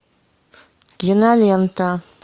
кинолента